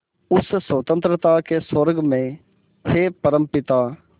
उस स्वतंत्रता के स्वर्ग में हे परमपिता